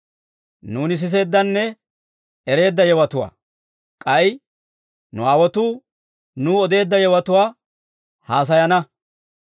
Nuuni siseeddanne ereedda yewotuwaa, k'ay nu aawotuu nuw odeedda yewotuwaa haasayana.